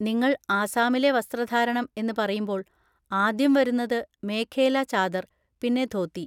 നിങ്ങൾ ആസാമിലെ വസ്ത്രധാരണം എന്ന് പറയുമ്പോൾ, ആദ്യം വരുന്നത് മേഖേല ചാദർ, പിന്നെ ധോതി.